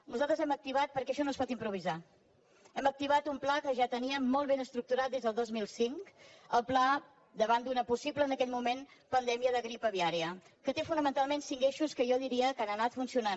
nosaltres hem activat perquè això no es pot improvisar un pla que ja teníem molt ben estructurat des del dos mil cinc el pla davant d’una possible en aquell moment pandèmia de grip aviària que té fonamentalment cinc eixos que jo diria que han anat funcionant